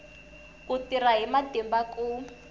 ku tirha hi matimba ku